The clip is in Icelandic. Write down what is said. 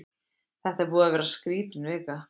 Þetta er búin að vera skrítin vika.